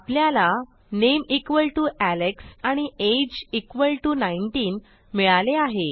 आपल्याला name equal to Alex आणि age equal to 19 मिळाले आहे